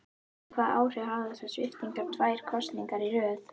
En hvaða áhrif hafa þessar sviptingar tvær kosningar í röð?